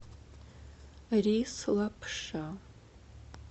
рис лапша